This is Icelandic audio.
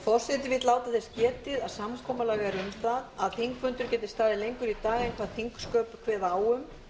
forseti vill láta þess getið að samkomulag er um það að þingfundur geti staðið lengur í dag en hvað þingsköp kveða á